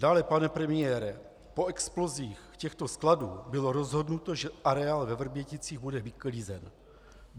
Dále, pane premiére, po explozích těchto skladů bylo rozhodnuto, že areál ve Vrběticích bude vyklizen.